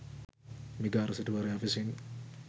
මිගාර සිටුවරයා විසින්